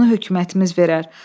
Onu hökumətimiz verər.